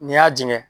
N'i y'a jɛngɛ